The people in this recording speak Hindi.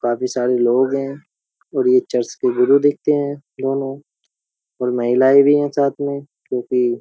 काफी सारे लोग हैं और ये चर्च के गुरु दिखते हैं दोनों और महिलाए भी है साथ में क्योंकि --